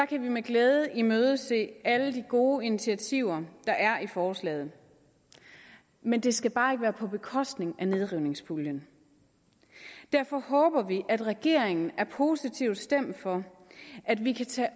kan vi med glæde imødese alle de gode initiativer der er i forslaget men det skal bare ikke være på bekostning af nedrivningspuljen derfor håber vi at regeringen er positivt stemt for at vi kan tage